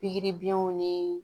Pikiri biyɛnw ni